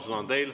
Sõna on teil.